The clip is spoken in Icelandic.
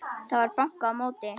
Það var bankað á móti.